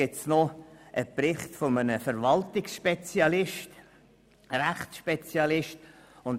Ferner besteht ein Bericht eines Verwaltungsrechtsspezialisten.